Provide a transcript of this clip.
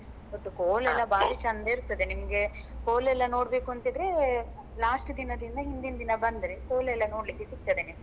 ಒಟ್ಟು ಕೋಲ ಎಲ್ಲ ಬಾರಿ ಚೆಂದ ಇರ್ತದೆ ನಿಮ್ಗೆ ಕೋಲ ಯೆಲ್ಲಾ ನೋಡ್ಬೇಕು ಅಂತಿದ್ರೆ last ದಿನದಿಂದ ಹಿಂದಿನ್ ದಿನ ಬಂದ್ರೆ ಕೋಲ ಎಲ್ಲ ನೋಡ್ಲಿಕ್ಕೆ ಸಿಗ್ತದೆ ನಿಮ್ಗೆ